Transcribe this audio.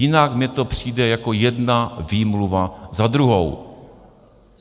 Jinak mi to přijde jako jedna výmluva za druhou.